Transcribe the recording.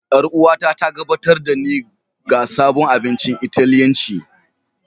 Yar'uwata ta gabatar da ni ga sabon abincin Italiyanci.